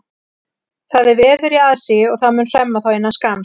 Það er veður í aðsigi og það mun hremma þá innan skamms.